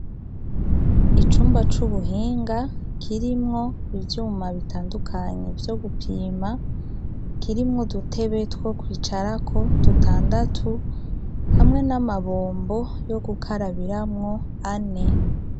Icumba c' ubuhinga, kirimwo ivyuma bitandukanye vyo gupima, kirimwo udutebe two kwicarako dutandatu, hamwe n' amabombo yo gukarabiramwo ane.